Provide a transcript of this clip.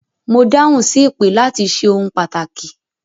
Mo dáhùn sí ìpè láti ṣe ohun pàtàkì